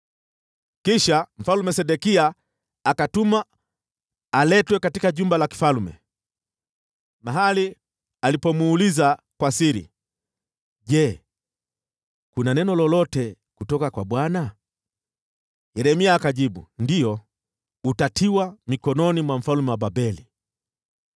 Kisha Mfalme Sedekia akatumana aletwe katika jumba la kifalme, mahali alipomuuliza kwa siri, “Je, kuna neno lolote kutoka kwa Bwana ?” Yeremia akajibu, “Ndiyo, utatiwa mikononi mwa mfalme wa Babeli.”